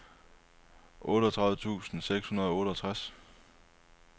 otteogtredive tusind seks hundrede og otteogtres